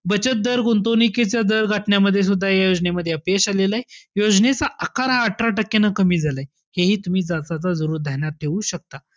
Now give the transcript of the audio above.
बचत दर गुंतवणुकीचा दर घटण्यामध्ये सुद्धा हे योजनेमध्ये अपयश आलेलय. योजनेचा आकार हा अठरा टक्क्यानं कमी झालाय. हे हि तुम्ही जाता-जाता ध्यान्यात ठेऊ शकता.